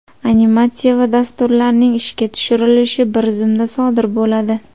Animatsiya va dasturlarning ishga tushirilishi bir zumda sodir bo‘ladi.